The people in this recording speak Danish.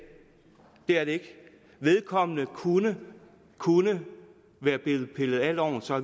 er det ikke vedkommende kunne kunne være blevet pillet af loven så